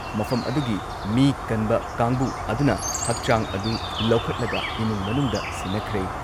ꯃꯐꯝ ꯑꯗꯨꯒꯤ ꯃꯤ ꯀꯟꯕ ꯀꯥꯡꯕꯨ ꯑꯗꯨꯅ ꯍꯛꯆꯥꯡ ꯑꯗꯨ ꯂꯧꯈꯠꯂꯒ ꯏꯃꯨꯡ ꯃꯅꯨꯡꯗ ꯁꯤꯟꯅꯈ꯭ꯔꯦ ꯫